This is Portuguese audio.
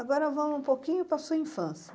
Agora vamos um pouquinho para a sua infância.